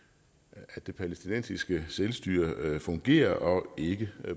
at det palæstinensiske selvstyre fungerer og ikke